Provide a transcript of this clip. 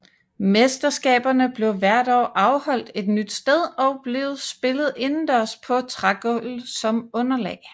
Mesterskaberne blev hvert år afholdt et nyt sted og blev spillet indendørs på trægulv som underlag